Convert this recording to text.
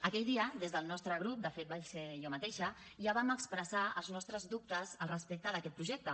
aquell dia des del nostre grup de fet vaig ser jo mateixa ja vam expressar els nostres dubtes al respecte d’aquest projecte